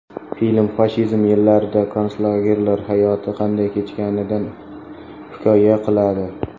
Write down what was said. Film fashizm yillarida konslagerlar hayoti qanday kechganidan hikoya qiladi.